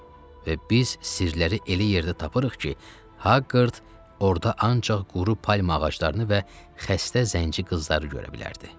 Və biz sirləri elə yerdə tapırıq ki, Hagqard orda ancaq quru palma ağaclarını və xəstə zənci qızları görə bilərdi.